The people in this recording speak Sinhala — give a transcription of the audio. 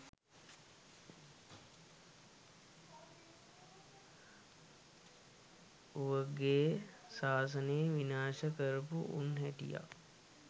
ඕවගේ සාසනේ විනාශ කරපු උන් හිටියා.